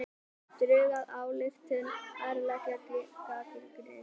Drög að ályktun harðlega gagnrýnd